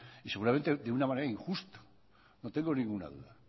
y seguramente de una manera injusta no tengo ninguna duda